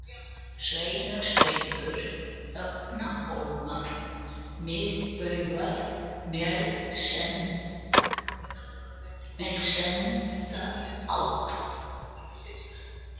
Sneisarsveipur, Högnahólmar, Miðbugar, Melssendaáll